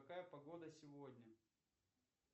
какая погода сегодня